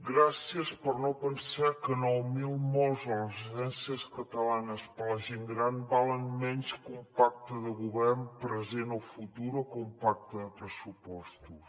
gràcies per no pensar que nou mil morts a les residències catalanes de la gent gran valen menys que un pacte de govern present o futur o que un pacte de pressupostos